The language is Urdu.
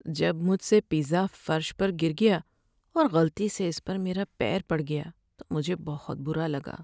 جب مجھ سے پیزا فرش پر گر گیا اور غلطی سے اس پر میرا پیر پڑ گیا تو مجھے بہت برا لگا۔